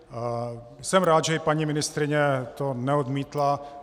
Jsem rád, že i paní ministryně to neodmítla.